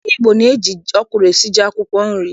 Ndị Igbo na-eji ọkwụrụ esi ji akwụkwọ nri.